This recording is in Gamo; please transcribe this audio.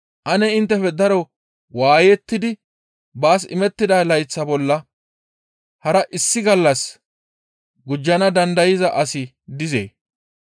Ane inttefe daro waayettidi baas imettida layththa bolla hara issi gallas gujjana dandayza asi dizee?